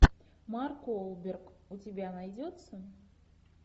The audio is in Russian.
марк уолберг у тебя найдется